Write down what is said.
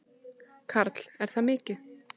Karl: Er það mikið?